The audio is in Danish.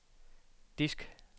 disk